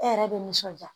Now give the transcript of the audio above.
E yɛrɛ be nisɔnja